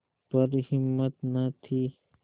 पर हिम्मत न थी